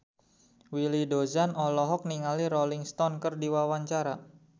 Willy Dozan olohok ningali Rolling Stone keur diwawancara